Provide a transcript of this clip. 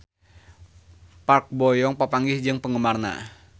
Park Bo Yung papanggih jeung penggemarna